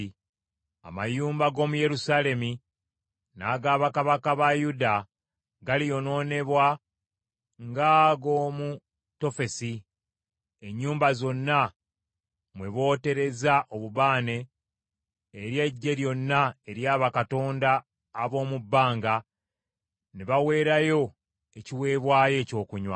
Amayumba g’omu Yerusaalemi n’aga bakabaka ba Yuda galiyonoonebwa ng’ago mu Tofesi, ennyumba zonna mwe booterezza obubaane eri eggye lyonna erya bakatonda ab’omu bbanga, ne baweerayo ekiweebwayo ekyokunywa.’ ”